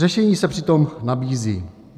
Řešení se přitom nabízí.